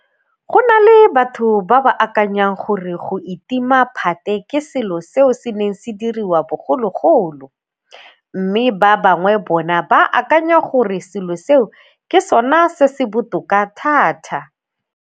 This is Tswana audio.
Go na le batho ba ba akanyang gore go itima phate ke selo seo se neng se diriwa bogologolo, mme ba bangwe bona ba akanya gore selo seo ke sona se se botoka thata.